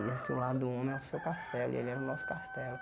E dizem que o lar do homem é o seu castelo e ele era o nosso castelo.